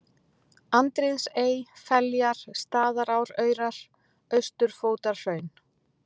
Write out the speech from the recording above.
Andríðsey, Feljar, Staðaráraurar, Austurfótarhraun